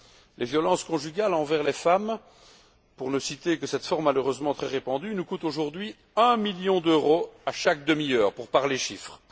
Les violences conjugales envers les femmes pour ne citer que cette forme malheureusement très répandue nous coûtent aujourd'hui un million d'euros à chaque demi heure pour parler chiffres.